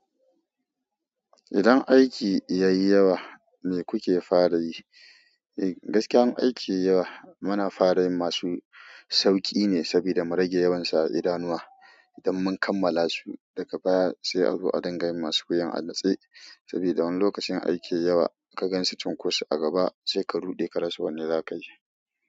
Idan aiki yayi yawa me kuke fara yi? Eh, gaskiya in aiki yayi yawa muna fara yin masu sauƙi ne saboda mu rage yawansa a idanuwa. Idan mun kammala su daga baya sai a zo a dinga yin masu wuyan a natse. Saboda wani lokacin in aiki yayi yawa ka ganshi cunkoso a gaba sai ka ruɗe ka rasa wanda za ka yi.